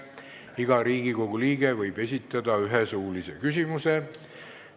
Iga Riigikogu liige võib esitada ühe suulise küsimuse.